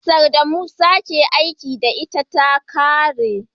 Kusar da Musa ke aiki da ita ta kare